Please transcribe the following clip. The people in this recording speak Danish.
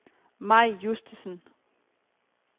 Mai Justesen